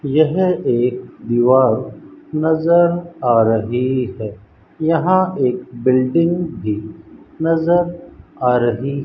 यह एक दीवार नज़र आ रही है यहां एक बिल्डिंग भी नज़र आ रही है।